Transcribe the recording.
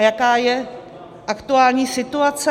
A jaká je aktuální situace?